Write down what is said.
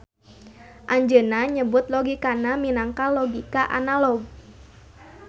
Anjeuna nyebut logikana minangka logika analog.